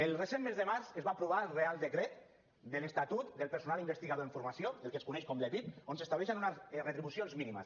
el recent mes de març es va aprovar el reial decret de l’estatut del personal investigador en formació el que es coneix com l’epif on s’estableixen unes retribucions mínimes